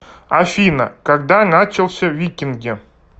афина когда начался викинги